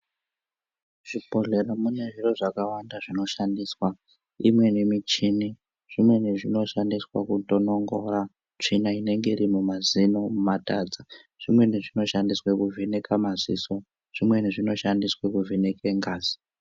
Zvibhodhlera mune zviro zvakawanda zvinoshandiswa, imweni michini, zvimweni zvinoshandiswa kutonongora tsvina inenge iri mumazino mumatadza, zvimweni zvinoshandiswe kuvheneka maziso, zvimweni zvinoshandiswe kuvheneke ngazi.